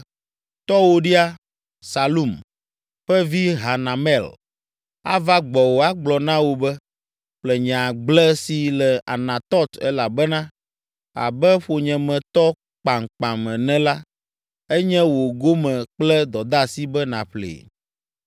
‘Tɔwòɖia, Salum, ƒe vi Hanamel ava gbɔwò agblɔ na wò be, “Ƒle nye agble si le Anatɔt elabena, abe ƒonyemetɔ kpamkpam ene la, enye wò gome kple dɔdeasi be nàƒlee?” ’